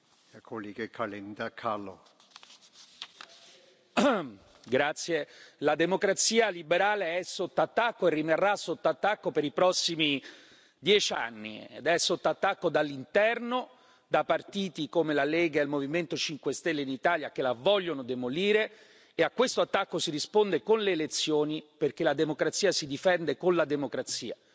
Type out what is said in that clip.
Signor Presidente, onorevoli colleghi, la democrazia liberale è sotto attacco e rimarrà sotto attacco per i prossimi dieci anni. È sotto attacco dall'interno, da parte di partiti come la Lega e il Movimento 5 Stelle in Italia che la vogliono demolire, e a questo attacco si risponde con le elezioni, perché la democrazia si difende con la democrazia.